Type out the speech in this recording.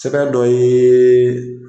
Sɛbɛn do ye.